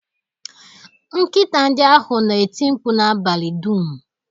Nkịta ndị ahụ na-eti mkpu n'abalị dum